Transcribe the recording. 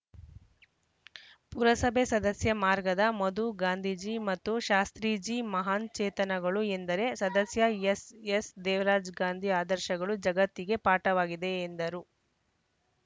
ಪುರಸಭೆ ಸದಸ್ಯ ಮಾರ್ಗದ ಮಧು ಗಾಂಧೀಜಿ ಮತ್ತು ಶಾಸ್ತ್ರೀಜಿ ಮಹಾನ್‌ಚೇತನಗಳು ಎಂದರೆ ಸದಸ್ಯ ಎಸ್‌ಎಸ್‌ದೇವರಾಜ್‌ ಗಾಂಧಿ ಆದರ್ಶಗಳು ಜಗತ್ತೀಗೇ ಪಾಠವಾಗಿವೆ ಎಂದರು